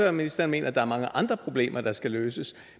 at ministeren mener at der er mange andre problemer der skal løses